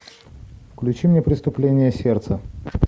включи мне преступление сердца